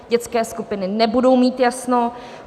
Dětské skupiny nebudou mít jasno.